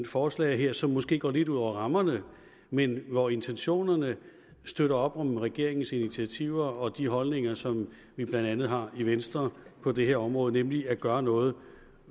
forslag her som måske går lidt ud over rammerne men hvor intentionerne støtter op om regeringens initiativer og de holdninger som vi blandt andet har i venstre på det her område nemlig at gøre noget